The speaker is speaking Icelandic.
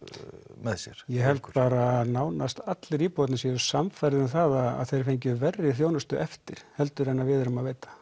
með sér ég held bara að nánast allir íbúarnir séu sannfærðir um það að þeir fengju verri þjónustu eftir heldur en að við erum að veita